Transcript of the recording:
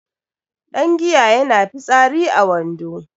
Dangiya yana fitsari a wando